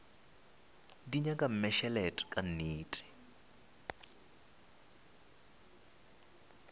di nyaka mmešelet ka nnete